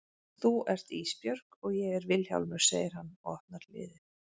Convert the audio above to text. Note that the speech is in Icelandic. Þú ert Ísbjörg og ég er Vilhjálmur, segir hann og opnar hliðið.